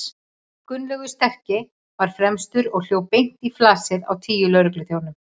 Gunnlaugur sterki var fremstur og hljóp beint í flasið á tíu lögregluþjónum.